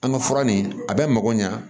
An ka fura nin a bɛ mako ɲa